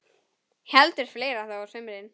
Heldur fleira þó á sumrin.